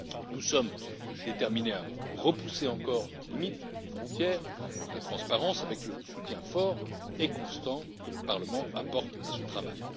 Nous sommes déterminés à repousser encore les limites des frontières de la transparence avec le soutien fort et constant que le Parlement apporte à ce travail.